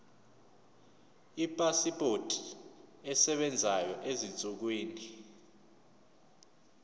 ipasipoti esebenzayo ezinsukwini